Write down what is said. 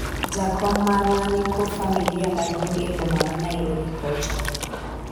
jakom marwa niko familia maduong' e boma ma Nairobi kocha